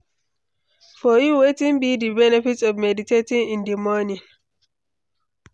For you, wetin be di benefit of meditating in di morning?